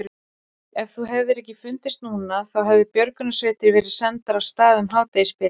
Ef þú hefðir ekki fundist núna þá hefðu björgunarsveitir verið sendar af stað um hádegisbilið.